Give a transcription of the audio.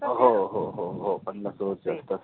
हो हो हो हो हो पन्नास over च्या असतात.